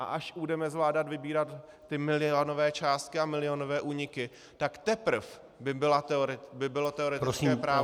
A až budeme zvládat vybírat ty milionové částky a milionové úniky, tak teprv by bylo teoretické právo...